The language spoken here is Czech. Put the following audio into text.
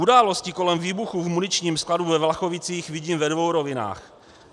Události kolem výbuchu v muničním skladu ve Vlachovicích vidím ve dvou rovinách.